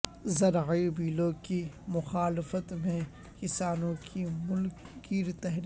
زرعی بلوں کی مخالفت میں کسانوں کی ملک گیر تحریک